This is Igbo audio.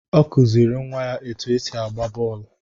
Ọ kụziri nwa ya etu esi agba bọọlụ.